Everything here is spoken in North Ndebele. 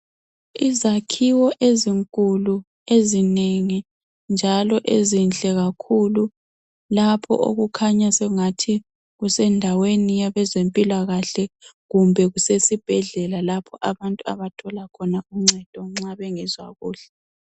Izakhiwo ezinkulu ezinengi njalo ezinhle kakhulu lapho okukhanya sengathi kusendaweni yabezempilakahle kumbe kusesibhedlela lapho abantu abathola khona uncedo nxa bengezwa kuhle.